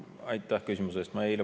Aitäh küsimuse eest!